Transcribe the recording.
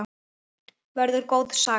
Verður góð saga.